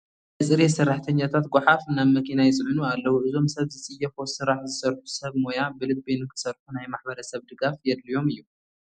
ናይ ፅሬት ሰራሕተኛታት ጐሓፍ ናብ መኪና ይፅዕኑ ኣለዉ፡፡ እዞም ሰብ ዝፅየፎ ስራሕ ዝሰርሑ ሰብ ሞያ ብልቢ ንክሰርሑ ናይ ማሕበረሰብ ድጋፍ የድልዮም እዩ፡፡